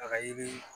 A ka yiri